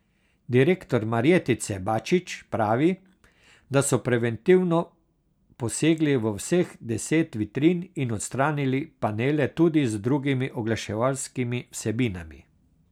Direktor Marjetice Bačič pravi, da so preventivno posegli v vseh deset vitrin in odstranili panele tudi z drugimi oglaševalskimi vsebinami.